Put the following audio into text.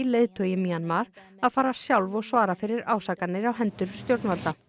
leiðtogi Mjanmar að fara sjálf og svara fyrir áskanir á hendur stjórnvalda